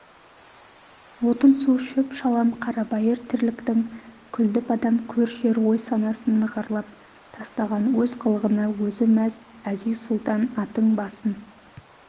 отын-су шөп-шалам қарабайыр тірліктің күлді-бадам көр-жер ой-санасын нығарлап тастаған өз қылығына өзі мәз әзиз-сұлтан аттың басын